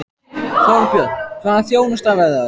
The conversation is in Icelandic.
Þorbjörn: Hvaða þjónusta verður það?